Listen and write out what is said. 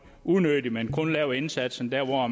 unødigt men kun lave indsatsen der hvor